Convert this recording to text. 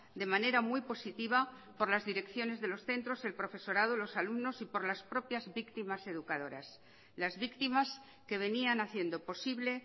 de manera muy positiva por las direcciones de los centros el profesorado los alumnos y por las propias víctimas educadoras las víctimas que venían haciendo posible